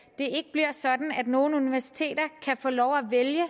bliver sådan at nogle universiteter kan få lov at vælge at